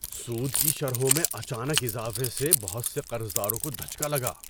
سود کی شرحوں میں اچانک اضافے سے بہت سے قرضداروں کو دھچکا لگا۔